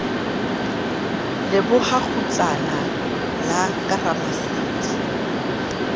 leboha kgutlana la ka ramasedi